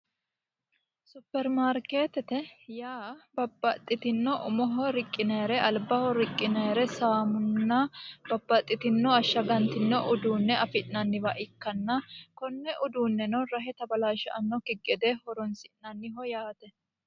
Superimaarimeetete yaa babbaxitinno umoho riqqinayore alibbaho riqqinayire saamunna babbaxitinno ashaganitinno uduune afi'nanniwa ikkana konne uduunenno rahe tabalaashanokki gede horonisi'nanniho yaate